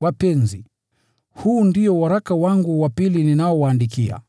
Wapenzi, huu ndio waraka wangu wa pili ninaowaandikia.